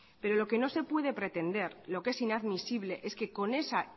pero lo que no se puede pretender lo que es inadmisible es que con esa